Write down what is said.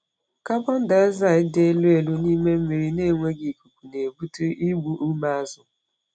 Carbon dioxide dị elu elu n’ime mmiri na-enweghị ikuku na-ebute igbu ume azụ.